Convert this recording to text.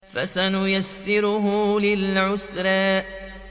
فَسَنُيَسِّرُهُ لِلْعُسْرَىٰ